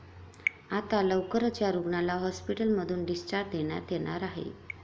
आता लवकरच या रुग्णाला हॉस्पिटलमधून डिस्चार्ज देण्यात येणार आहे.